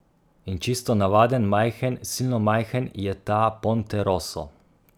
In čisto navaden, majhen, silno majhen je ta Ponte rosso.